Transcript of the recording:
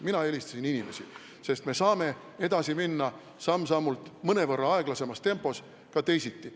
Mina eelistasin inimesi, sest me saame edasi minna samm-sammult, mõnevõrra aeglasemas tempos ja ka teisiti.